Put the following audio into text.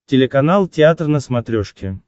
телеканал театр на смотрешке